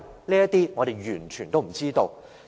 這些我們完全不知道。